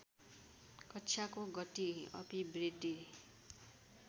कक्षाको गति अभिवृद्धि